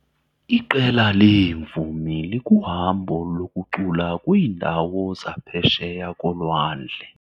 Iqela leemvumi likuhambo lokucula kwiindawo zaphesheya kolwandle.